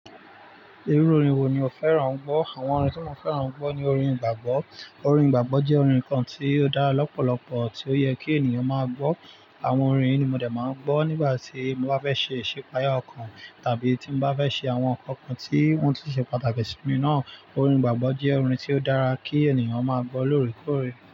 Irú orin wo ni o fẹ́ràn gbọ́? Àwọn orin tí mo fẹ́ràn ń gbọ́ ni orin igbàgbọ́. Orin gbàgbọ́ jẹ́ orin kan tí ó dára lọ́pọ̀lọpọ̀, tí ó yẹ kí ènìyàn máa gbọ́. Àwọn orin yìí ni mo de máa ń gbọ́ nígbà tí mo bá fẹ́ ṣe ìsepaya ọkàn, tàbí tí mo bá fẹ́ ṣe àwọn nǹkan kan tí won tun ṣe pàtàkì sí mi náà. Orin gbàgbọ́ jẹ́ orin tí ó dára kí ènìyàn máa gbọ́ lóòrèkóòrè.